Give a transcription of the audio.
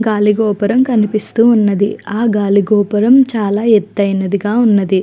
గాలి గోపురం కనిపిస్తూన్నది ఆ గాలి గోపురం చాల ఎత్తయినదిగా ఉన్నది .